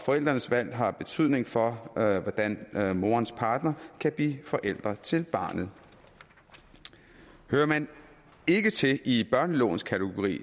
forældrenes valg har betydning for hvordan morens partner kan blive forælder til barnet hører man ikke til i børnelovens kategori